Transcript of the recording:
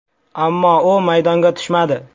Ammo u maydonga tushmadi.